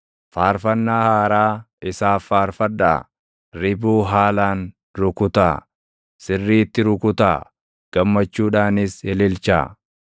Faarfannaa haaraa isaaf faarfadhaa; ribuu haalaan rukutaa; sirriitti rukutaa; gammachuudhaanis ililchaa.